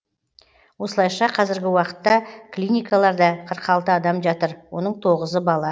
осылайша қазіргі уақытта клиникаларда қырық алты адам жатыр оның тоғызы бала